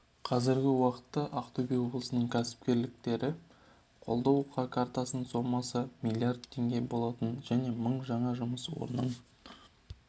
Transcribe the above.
қазіргі уақытта ақтөбе облысының кәсіпкерлікті қолдау картасына сомасы миллиард теңге болатын және мың жаңа жұмыс орнын